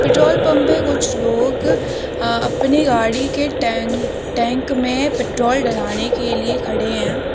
Petrol pump पे कुछ लोग अ अपनी गाड़ी के टैंक टैंक में पेट्रोल डलाने के लिए खड़े हैं।